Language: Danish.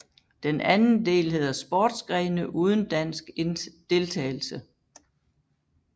Den anden del hedder Sportsgrene uden dansk deltagelse